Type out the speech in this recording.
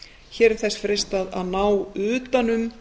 hér er þess freistað að ná utan um